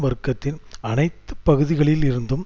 வர்க்கத்தின் அனைத்து பகுதிகளில் இருந்தும்